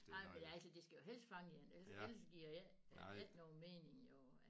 Nej men altså det skal jo helst fange én ellers så ellers så giver det ikke giver ikke nogen mening jo